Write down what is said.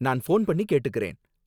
நான் ஃபோன் பண்ணி கேட்டுக்கறேன்.